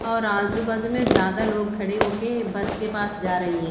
और आजु बाजु में ज्यादा लोग खड़े होक बस के पास जा रही है।